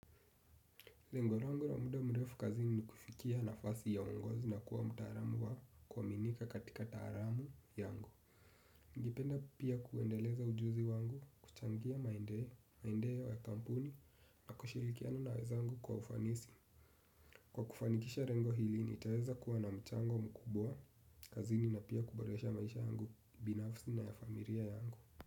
Lengo langu la muda mrefu kazini ni kufikia nafasi ya ungozi na kuwa mutaalamu wa kuaminika katika taalamu yangu. Ningependa pia kuendeleza ujuzi wangu, kuchangia maendeleo ya kampuni, na kushirikiana na wenzangu kwa ufanisi. Kwa kufanikisha lengo hili, nitaweza kuwa na mchango mkubwa, kazini na pia kuboresha maisha yangu, binafsi na ya familia yangu.